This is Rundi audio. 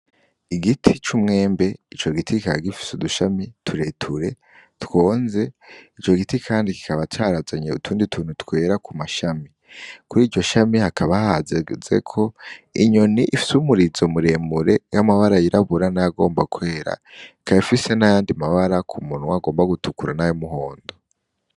Igiti c'umwembe, ici giti kikaba gifise udushami tureture twonze. Ico giti kandi kikaba carazanye utundi tuntu twera kumashami. Kuriryo shami hakaba hahagazeko inyoni ifise umurizo muremure, y'amabara yirabura n'ayagomba kwera. Ikaba ifise n'ayandi mabara kumunwa agomba gutukura n'ay'umuhondo.